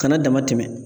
Kana dama tɛmɛ